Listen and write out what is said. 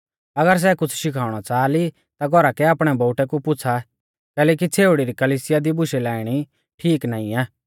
अगर सै कुछ़ शिखणौ च़ाहा ली ता घौरा कै आपणै बोउटै कु पुछ़ा कैलैकि छ़ेउड़ी री कलिसिया दी बुशै लाइणी ठीक नाईं आ